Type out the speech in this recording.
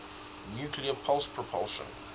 nuclear pulse propulsion